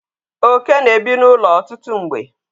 oke na-ebi n'ụlọ ọtụtụ mgbe